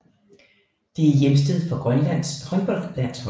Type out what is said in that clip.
Det er hjemsted for Grønlands håndboldlandshold